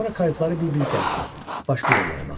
Sonra kayutları bir-bir gəzdik, başqa yerlərə baxdıq.